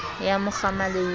ya mo kgama le ho